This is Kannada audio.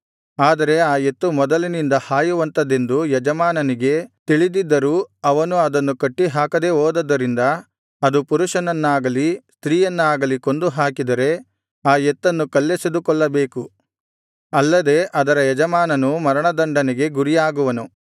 ಆದರೆ ಆ ಎತ್ತು ಮೊದಲಿನಿಂದ ಹಾಯುವಂಥದೆಂದು ಯಜಮಾನನಿಗೆ ತಿಳಿದಿದ್ದರೂ ಅವನು ಅದನ್ನು ಕಟ್ಟಿಹಾಕದೇ ಹೋದದ್ದರಿಂದ ಅದು ಪುರುಷನನ್ನಾಗಲಿ ಸ್ತ್ರೀಯನ್ನಾಗಲಿ ಕೊಂದು ಹಾಕಿದರೆ ಆ ಎತ್ತನ್ನು ಕಲ್ಲೆಸೆದು ಕೊಲ್ಲಬೇಕು ಅಲ್ಲದೆ ಅದರ ಯಜಮಾನನೂ ಮರಣದಂಡನೆಗೆ ಗುರಿಯಾಗುವನು